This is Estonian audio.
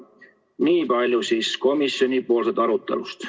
Nii palju siis komisjoni arutelust.